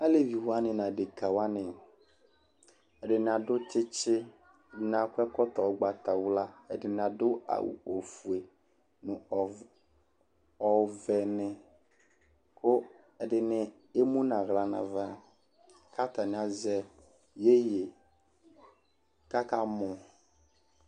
Alevi wanɩ nʋ adekǝ wanɩ, ɛdɩnɩ adʋ tsɩtsɩ, ɛdɩnɩ akɔ ɛkɔtɔ ʋgbatawla, ɛdɩnɩ adʋ awʋ ofue nʋ ɔv ɔvɛnɩ kʋ ɛdɩnɩ emu nʋ aɣla nʋ ava kʋ atanɩ azɛ iyeye kʋ akamɔ